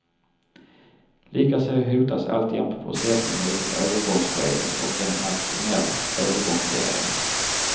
Likaså hotas alltjämt processen mot ett övergångsskede och en nationell övergångsregering.